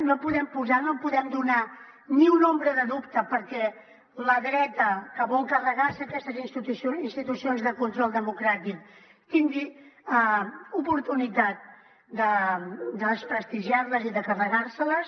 no podem posar no podem donar ni una ombra de dubte perquè la dreta que vol carregar se aquestes institucions de control democràtic tingui oportunitat de desprestigiar les i de carregar se les